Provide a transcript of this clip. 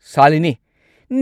ꯁꯥꯂꯤꯅꯤ,